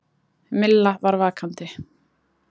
Milla var vakandi.